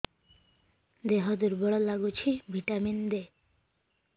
ଦିହ ଦୁର୍ବଳ ଲାଗୁଛି ଭିଟାମିନ ଦେ